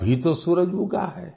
अभी तो सूरज उगा है